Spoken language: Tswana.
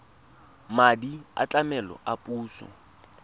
madi a tlamelo a puso